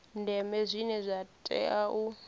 ndeme zwine zwa tea u